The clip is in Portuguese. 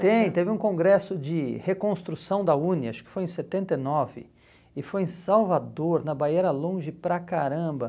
Tem, teve um congresso de reconstrução da UNE, acho que foi em setenta e nove, e foi em Salvador, na Baiera Longe, para caramba.